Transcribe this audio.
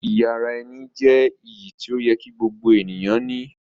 Iyì ara-ẹni jẹ́ iyì tí ó yẹ kí gbogbo ènìyàn ní.